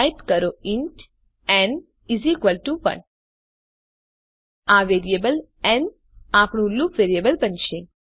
type કરો int ન 1 આ વેરિયેબલ ન આપણું લૂપ વેરિયેબલ બનશે